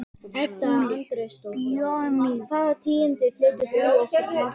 SKÚLI: Bauja mín!